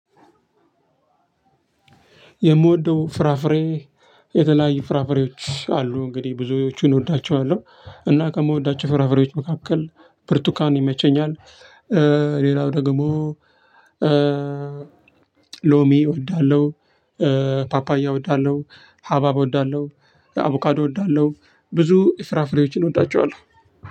የምወደው ፍራፍሬ የተለያዩ ፍራፍሬዎች አሉ እንግዲህ ብዙዎቹን እወዳቸዋለሁ እና ከምወዳቸው ፍራፍሬዎች መካከል ብርቱካን ይመቸኛል። ሌላው ደግሞ ሎሚ እወዳለሁ። ፓፓያ እወዳለሁ። ሀባብ እወዳለሁ። አቮካዶ እወዳለሁ። ብዙ ፍራፍሬወችን እወዳቸዋለሁ።